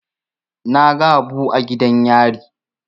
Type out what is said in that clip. Na ga Habu a gidan yari.